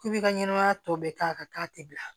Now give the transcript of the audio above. K'i bi ka ɲɛnamaya tɔ bɛɛ k'a kan k'a tɛ bila